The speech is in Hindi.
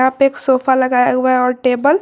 यहां पे एक सोफा लगाया हुआ है और टेबल ।